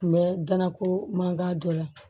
Kun bɛ danako mankan dɔ la